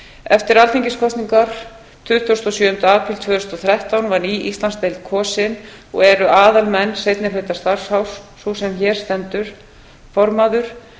eftir alþingiskosningar tuttugasta og sjöunda apríl tvö þúsund og þrettán var ný íslandsdeild kosin og eru aðalmenn seinni hluta starfsárs eru sem hér stendur formaður